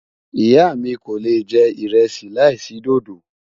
ìyá mí kò lè jẹ iresi là isi dòdó